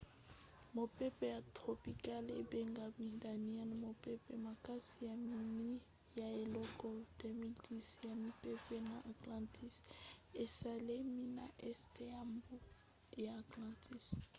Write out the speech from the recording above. mopepe ya tropicale ebengami daniellle mopepe makasi ya minei na eleko 2010 ya mipepe na atlantique esalemi na este ya mbu ya atlantique